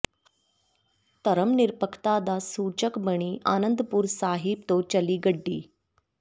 ਧਰਮ ਨਿਰਪੱਖਤਾ ਦਾ ਸੂਚਕ ਬਣੀ ਆਨੰਦਪੁਰ ਸਾਹਿਬ ਤੋਂ ਚੱਲੀ ਗੱਡੀ